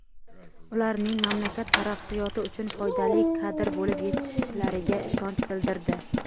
ularning mamlakat taraqqiyoti uchun foydali kadr bo‘lib yetishishlariga ishonch bildirdi.